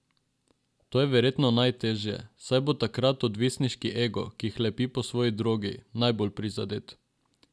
To je verjetno najteže, saj bo takrat odvisniški ego, ki hlepi po svoji drogi, najbolj prizadet.